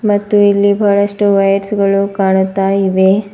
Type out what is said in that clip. ಮತ್ತು ಇಲ್ಲಿ ಬಹಳಷ್ಟು ವಯರ್ಸ್ ಗಳು ಕಾಣುತ್ತಾಇವೆ.